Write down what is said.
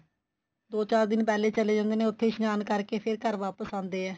ਦੋ ਚਾਰ ਦਿਨ ਪਹਿਲੇ ਚਲੇ ਜਾਂਦੇ ਨੇ ਉੱਥੇ ਇਸ਼ਨਾਨ ਕਰਕੇ ਫੇਰ ਘਰ ਵਾਪਸ ਆਂਦੇ ਏ